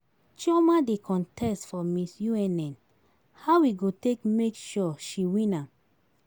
Chioma dey contest for Miss UNN, how we go take make sure she win am?